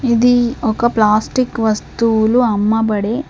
ఇది ఒక ప్లాస్టిక్ వస్తువులు అమ్మబడే--